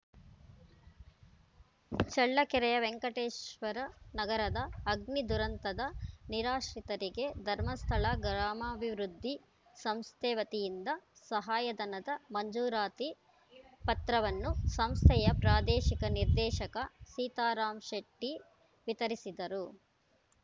ಚಳ್ಳಕೆರೆಯ ವೆಂಕಟೇಶ್ವರ ನಗರದ ಅಗ್ನಿ ದುರಂತದ ನಿರಾಶ್ರಿತರಿಗೆ ಧರ್ಮಸ್ಥಳ ಗ್ರಾಮಾಭಿವೃದ್ಧಿ ಸಂಸ್ಥೆವತಿಯಿಂದ ಸಹಾಯಧನದ ಮಂಜೂರಾತಿ ಪತ್ರವನ್ನು ಸಂಸ್ಥೆಯ ಪ್ರಾದೇಶಿಕ ನಿರ್ದೇಶಕ ಸೀತಾರಾಮಶೆಟ್ಟಿವಿತರಿಸಿದರು